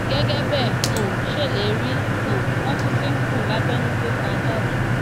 gẹgẹ bẹ ẹ um ṣe lè rí i um wọn tún ti ń kùn lábẹnú pé kà á jáde